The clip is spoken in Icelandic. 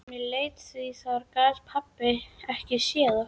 Mér létti því þar gat pabbi ekki séð hana.